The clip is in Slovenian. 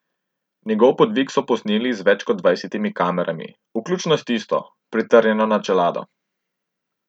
Njegov podvig so posneli z več kot dvajsetimi kamerami, vključno s tisto, pritrjeno na čelado.